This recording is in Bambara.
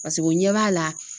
Pasek'o ɲɛ b'a la